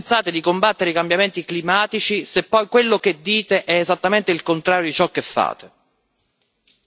La mia domanda è come pensate di combattere i cambiamenti climatici, se poi quello che dite è esattamente il contrario di ciò che fate?